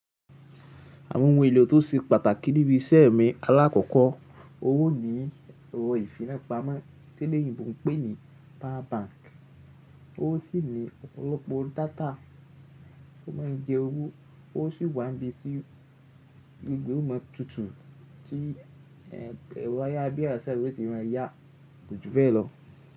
Àwọn ohun èlò tó ṣe pàtàkì níbi iṣẹ́ mi alákọ̀ọ́kọ́ owó ni ẹ̀rọ ìfipámọ́ to lèyìnbo pè ní power bank, ó sì ní ọ̀pọ̀lọpọ̀ data tó má ń jẹ owó, ó sì wà níbi tí gbogbo ọmọ tuntun tí ẹ̀rọ ayábíyá ìṣèjọba ti má a yá kùjú bẹ́ẹ̀ lọ.